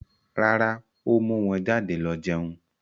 Rárá, ó mú wọn jáde lọ jẹun.